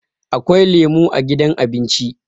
Akwai lemo a gidan abinci